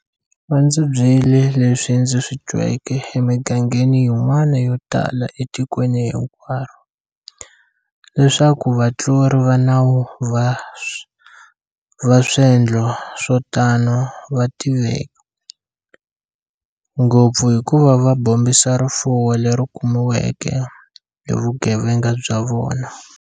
Va ndzi byele leswi ndzi swi tweke emigangeni yin'wana yotala etikweni hinkwaro- leswaku vatluri va nawu va swendlo swo tano va tiveka, ngopfu hikuva va bombisa rifuwo leri kumiweke hi vugevenga bya vona.